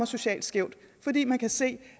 socialt skævt fordi man kan se